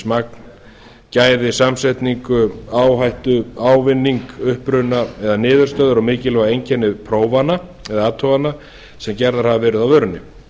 magn gæði samsetningu áhættu ávinning uppruna eða niðurstöður og mikilvæg einkenni prófana eða athugana sem gerðar hafa verið á vörunni